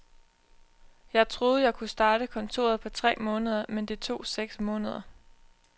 Jeg troede, jeg kunne starte kontoret på tre måneder, men det tog seks måneder.